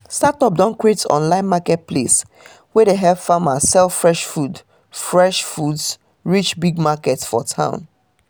startup don create online marketplace wey dey help farmers sell fresh foods fresh foods reach big market for town